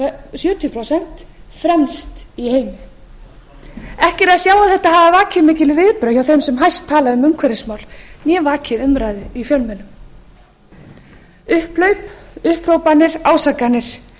sjötíu prósent fremst í heimi ekki er að sjá að þetta hafi vakið mikil viðbrögð hjá þeim sem hæst tala um umhverfismál eða vakið umræðu í fjölmiðlum upphlaup upphrópanir ásakanir